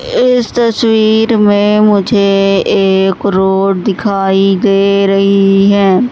इस तस्वीर में मुझे एक रोड दिखाई दे रही है।